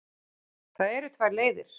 Það eru tvær leiðir.